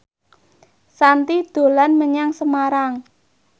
Shanti dolan menyang Semarang